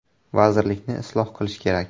Vazirlikni isloh qilish kerak.